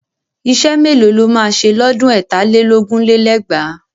Iṣẹ́ mélòó lo máa ṣe lọ́dún ẹ̀tà lé lógún lé lẹ́gbàá?